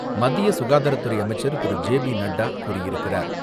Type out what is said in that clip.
மத்திய சுகாதாரத்துறை அமைச்சர் திரு. ஜே பி நட்டா கூறியிருக்கிறார்.